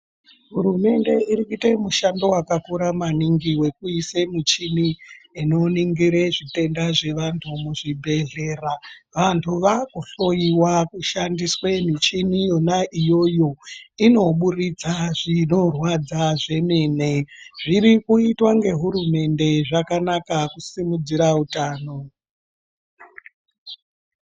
Hurumende irikuite mushando wakakura maningi wekuise michini inoningire zvitenda zvevantu muzvibhedhlera. Vantu vakuhloiwa kushandiswe michini yona iyoyo inoburutsa zvinorwadza zvemene. Zvirikuitwa ngehurumende zvakanaka kusimudzira utano.